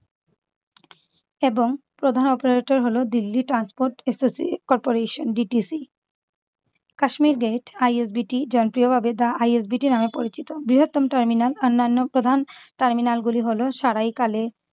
এবং প্রধান operator হল Delhi transport associa~ corporation DTC Kashmere gate ISBT জনপ্রিয় ভাবে the ISBT নামে পরিচিত। বৃহত্তম টার্মিনাল অনন্যা প্রধান টার্মিনাল গুলি হল সারাইকালে-